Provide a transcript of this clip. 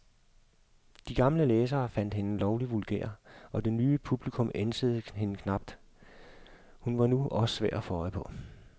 De gamle læsere fandt hende lovlig vulgær, og det nye publikum ænsede hende knap, hun var nu også svær at få øje på.